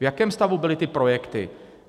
V jakém stavu byly ty projekty?